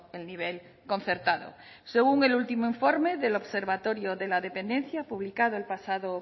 el nivel concertado según el último informe del observatorio de la dependencia publicado el pasado